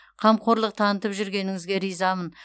қамқорлық танытып жүргеніңізге ризамын